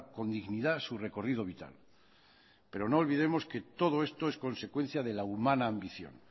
con dignidad su recorrido vital pero no olvidemos que todo esto es consecuencia de la humana ambición